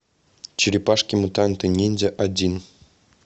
черепашки мутанты ниндзя один